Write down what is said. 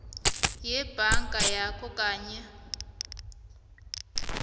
sebhanka yakho kanye